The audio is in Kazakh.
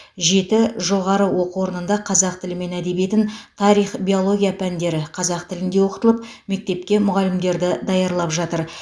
жеті жоғары оқу орнында қазақ тілі мен әдебиетін тарих биология пәндері қазақ тілінде оқытылып мектепке мұғалімдерді даярлап жатыр